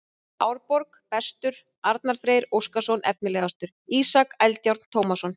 Árborg: Bestur: Arnar Freyr Óskarsson Efnilegastur: Ísak Eldjárn Tómasson